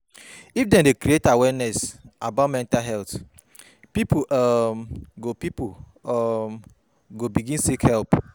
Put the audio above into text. If dem dey create awareness about mental health, pipo um go pipo um go begin seek help.